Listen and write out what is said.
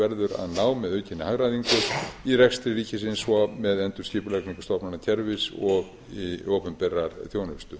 verður að ná með aukinni hagræðingu í rekstri ríkisins og með endurskipulagningu stofnanakerfis og opinberrar þjónustu